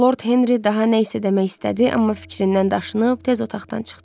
Lord Henri daha nə isə demək istədi, amma fikrindən daşınıb tez otaqdan çıxdı.